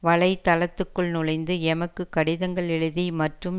வலை தளத்துக்குள் நுழைந்து எமக்கு கடிதங்கள் எழுதி மற்றும்